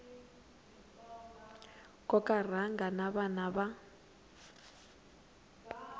koka rhanga na vana va